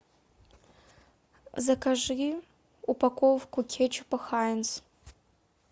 закажи упаковку кетчупа хайнц